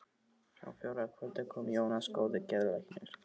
Á fjórða kvöldi kom Jónas góði geðlæknir.